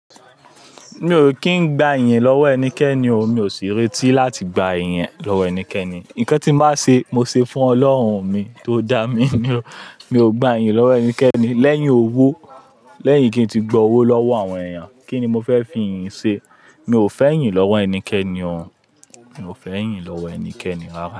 Mi ò kí ń gba iyìn lọ́wọ́ ẹnikẹ́ni o, mi ò sì retí láti gba iyìn ẹnikẹ́ni. Nǹkan tí màá ṣe, mo ṣe fún Ọlọ́run mi tó dá mi. Mi ò gba iyì lọ́wọ́ ẹnikẹ́ni. Lẹ́yìn owó, lẹ́yìn kí ń ti gba owó lọ́wọ́ àwọn èèyàn, kíni mo fẹ́ fi iyìn ṣe? Mi ò fẹ́ iyìn lọ́wọ́ ẹnikẹ́ni o. Mi ò fẹ́ iyìn lọ́wọ́ ẹnikẹ́ni.